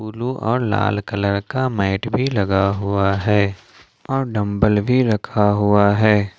Blue और लाल colour का मैट भी लगा हुआ है और डम्बल भी रखा हुआ है।